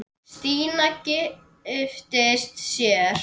Stína giftist sér.